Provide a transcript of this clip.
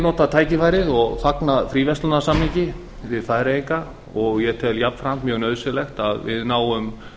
nota tækifærið og fagna fríverslunarsamningi við færeyinga ég tel jafnframt mjög nauðsynlegt að við náum